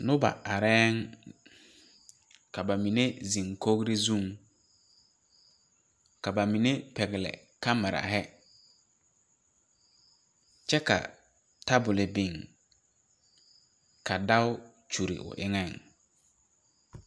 Nob areɛɛŋ ka ba mine zeŋ ba dakogre zuŋ ka ba mine pɛgle kamirahi kyɛ ka tabole biŋ ka dao kyure o eŋɛŋ.